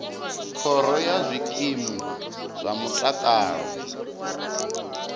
khoro ya zwikimu zwa mutakalo